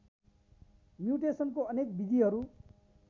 म्यूटेशनको अनेक विधिहरू